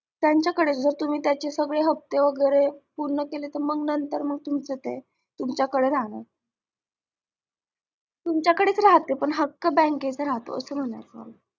त्यांच्या कडेच तुम्हाच्या जर तुम्ही त्याचे सगळे हफ्ते वगैरे पूर्ण केले तर मंग नंतर तुमचंच आहे तुम्हाच्या कडे राहणार तुम्हाच्या कडेच राहते पण मंग हक्क bank चा असं म्हणायचेय मला